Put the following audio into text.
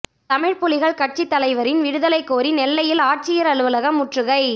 தமிழ்ப் புலிகள் கட்சித் தலைவரின் விடுதலை கோரி நெல்லையில் ஆட்சியா் அலுவலகம் முற்றுகை